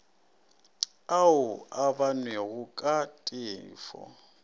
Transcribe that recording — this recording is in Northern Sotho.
ao a bonwego ka teko